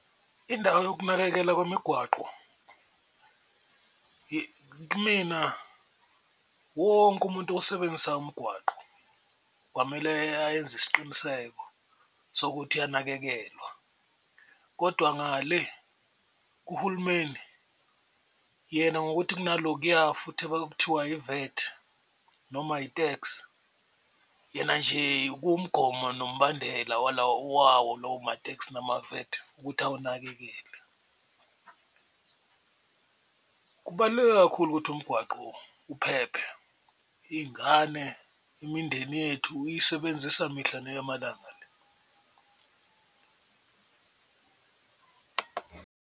Indawo yokunakekela kwemigwaqo kumina wonke umuntu osebenzisa umgwaqo kwamele ayenze isiqiniseko sokuthi uyanakekelwa, kodwa ngale uhulumeni yena ngokuthi kunalokuya futhi abakuthiwa yi-VAT noma i-TAX, yena nje umgomo nombandela wawo lowo ma-TAX nama-VAT ukuthi awunakekele. Kubaluleke kakhulu ukuthi umgwaqo uphephe iy'ngane, imindeni yethu iyisebenzisa mihla neyamalanga le.